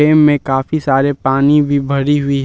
इनमें काफी सारे पानी भी भरी हुई है।